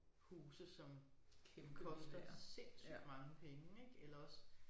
Huse som koster sindssygt mange penge ik eller også